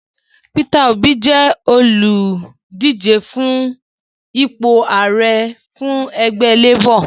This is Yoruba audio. Peter Obi jẹ́ olùdíje fún ipò Ààrẹ fún ẹgbẹ Labor